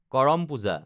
Karam Puja